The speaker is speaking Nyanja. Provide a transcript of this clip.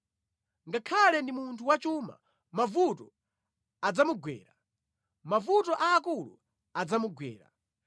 Ngakhale ndi munthu wachuma, mavuto adzamugwera; mavuto aakulu adzamugwera.